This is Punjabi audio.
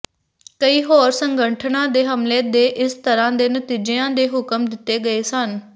ਕਈ ਹੋਰ ਸੰਗਠਨਾਂ ਦੇ ਹਮਲੇ ਦੇ ਇਸੇ ਤਰ੍ਹਾਂ ਦੇ ਨਤੀਜਿਆਂ ਦੇ ਹੁਕਮ ਦਿੱਤੇ ਗਏ ਸਨ